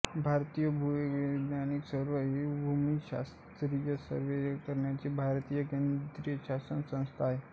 भारतीय भूवैज्ञानिक सर्वेक्षण ही भूशास्त्रीय सर्वेक्षण करणारी भारतातील केंद्रीय शासकीय संस्था आहे